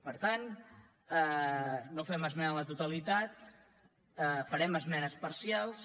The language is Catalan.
per tant no fem esmena a la totalitat farem esmenes parcials